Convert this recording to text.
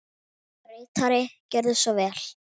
Ritari Gjörðu svo vel.